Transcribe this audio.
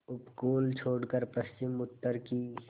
उपकूल छोड़कर पश्चिमउत्तर की